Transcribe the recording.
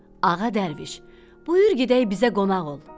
Ağa dərviş, buyur gedək bizə qonaq ol.